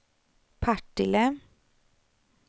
Partille